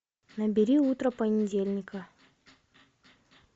набери утро понедельника